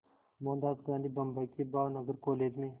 मोहनदास गांधी बम्बई के भावनगर कॉलेज में